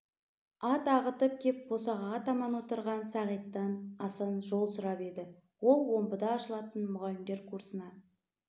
ат ағытып кеп босағаға таман отырған сағиттан асан жол сұрап еді ол омбыда ашылатын мұғалімдер курсына